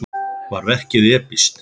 Var verkið epískt?